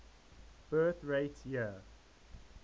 birth rate year